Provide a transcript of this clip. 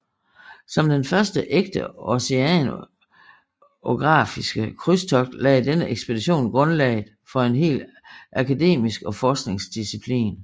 Som den første ægte oceanografiske krydstogt lagde denne ekspedition grundlaget for en hel akademisk og forskningsdisciplin